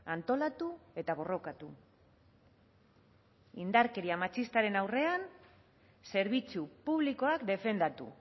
antolatu eta borrokatu indarkeria matxistaren aurrean zerbitzu publikoak defendatu